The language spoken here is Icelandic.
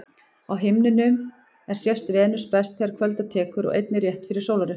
Á himninum er sést Venus best þegar kvölda tekur og einnig rétt fyrir sólarupprás.